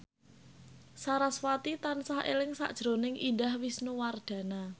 sarasvati tansah eling sakjroning Indah Wisnuwardana